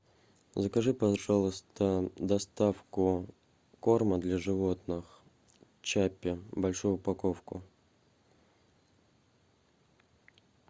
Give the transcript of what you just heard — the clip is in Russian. закажи пожалуйста доставку корма для животных чаппи большую упаковку